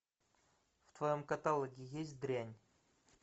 в твоем каталоге есть дрянь